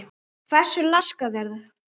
Hversu laskað það er?